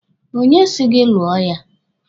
Onye si gị lụọ ya?